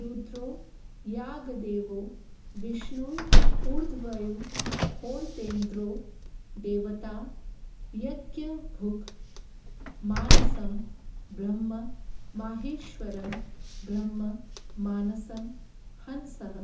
रुद्रो यागदेवो विष्णुरध्वर्युर्होतेन्द्रो देवता यज्ञभुग् मानसं ब्रह्म माहेश्वरं ब्रह्म मानसं हंसः